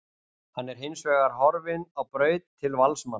Hann er hinsvegar horfinn á braut til Valsmanna.